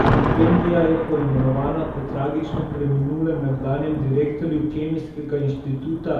Štipendija je poimenovana po tragično preminulem nekdanjem direktorju Kemijskega inštituta